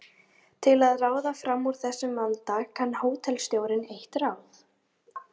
Til að ráða fram úr þessum vanda kann hótelstjórinn eitt ráð.